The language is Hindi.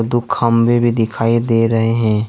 दो खंभे भी दिखाई दे रहे हैं।